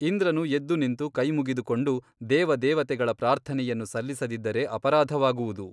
ಇಂದ್ರನು ಎದ್ದು ನಿಂತು ಕೈಮುಗಿದುಕೊಂಡು ದೇವ ದೇವತೆಗಳ ಪ್ರಾರ್ಥನೆಯನ್ನು ಸಲ್ಲಿಸದಿದ್ದರೆ ಅಪರಾಧವಾಗುವುದು....